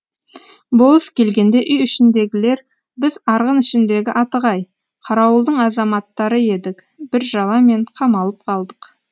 болыс келгенде үй ішіндегілер біз арғын ішіндегі атығай қарауылдың азаматтары едік бір жала мен қамалып қалдық